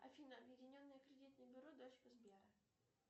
афина объединенное кредитное бюро дочка сбера